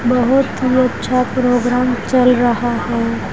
बहोत ही अच्छा प्रोग्राम चल रहा है।